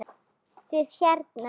Þið hérna.